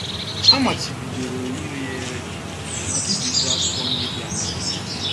A machibidoro ire ya ere, ma bibiekwa akwụkwọ ndị dị adị.